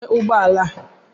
Kedu onye nwe ụgbọ ala a?